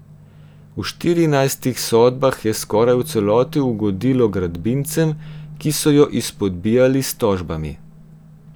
V štirinajstih sodbah je skoraj v celoti ugodilo gradbincem, ki so jo izpodbijali s tožbami.